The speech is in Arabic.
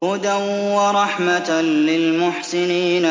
هُدًى وَرَحْمَةً لِّلْمُحْسِنِينَ